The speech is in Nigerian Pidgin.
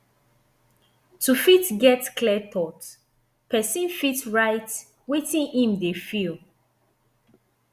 to fit get clear thought person fit write wetin im dey feel